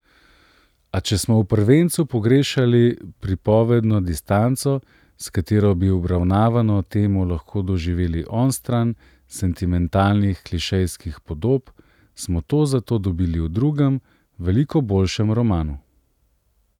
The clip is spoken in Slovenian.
A če smo v prvencu pogrešali pripovedno distanco, s katero bi obravnavano temo lahko doživeli onstran sentimentalnih klišejskih podob, smo to zato dobili v drugem, veliko boljšem romanu.